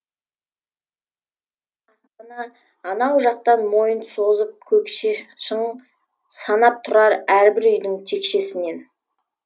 анау жақтан мойнын созып көкше шың санап тұрар әрбір үйдің текшесін